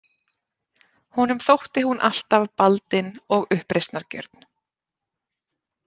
Honum þótti hún alltaf baldin og uppreisnargjörn.